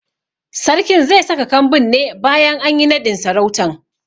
Sarkin ze saka kambin ne bayan anyi naɗin sarautan